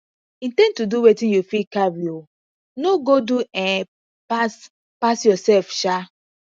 in ten d to do wetin you fit carry um no go do um pass pass yourself um